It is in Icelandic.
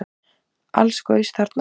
Alls gaus þarna